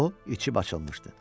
O içib açılmışdı.